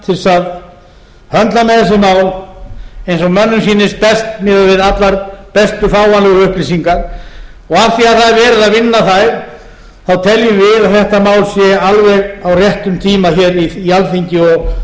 þess að höndla með þessi mál eins og mönnum sýnist best miðað við allar bestu fáanlegu upplýsingar og af því að það er verið að vinna þær teljum við að þetta mál sé alveg á réttum tíma hér í alþingi